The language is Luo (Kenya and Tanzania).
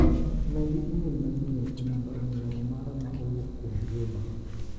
Medi imel manyien e namba ong'ue yamo mara ma owuok kuom Juma.